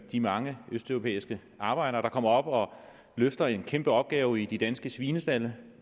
de mange østeuropæiske arbejdere der kommer op og løfter en kæmpe opgave i de danske svinestalde